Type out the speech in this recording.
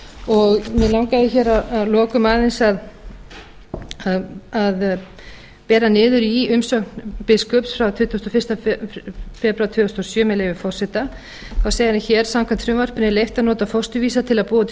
og mig langaði hér að lokum aðeins að bera niður í umsögn biskups frá tuttugasta og fyrsta febrúar tvö þúsund og sjö með leyfi forseta hann segir hér samkvæmt frumvarpinu er leyft að nota fósturvísa til að búa til